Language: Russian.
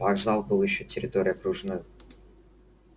вокзал был ещё пока территорией окружной